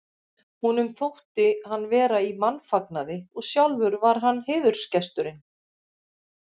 Honum þótti hann vera í mannfagnaði og sjálfur var hann heiðursgesturinn.